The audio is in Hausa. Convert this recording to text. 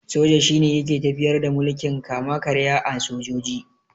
Soja shine yake tafiyar da mulkin kama-karya na sojoji.